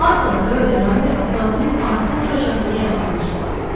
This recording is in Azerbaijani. Az qala Rö ilə Ramber avtomobilin arxa oturacağına yayxanmışdılar.